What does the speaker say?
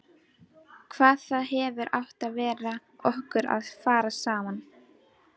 Hvað það hefði átt við okkur að fara saman.